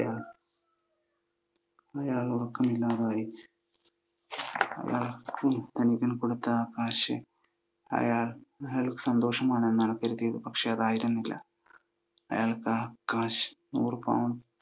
അയാൾക്ക് ഉറക്കമില്ലാതായി. തനിക്കു കൊടുത്ത കാശ് അയാൾ സന്തോഷമാണെന്നാണ് കരുതിയത്. പക്ഷെ അതായിരുന്നില്ല. അയാൾക്ക് ആ cash, നൂറു pound